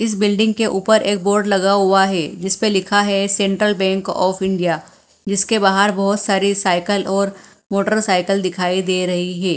इस बिल्डिंग के ऊपर एक बोर्ड लगा हुआ है जिसपे लिखा है सेंट्रल बैंक ऑफ इंडिया जिसके बाहर बहोत सारी साइकल और मोटरसाइकिल दिखाई दे रही ही।